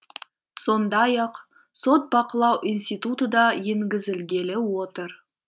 сондай ақ сот бақылау институты да енгізілгелі отыр